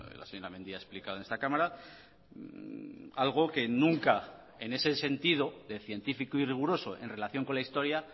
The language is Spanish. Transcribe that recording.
la señora mendia ha explicado en esta cámara algo que nunca en ese sentido de científico y riguroso en relación con la historia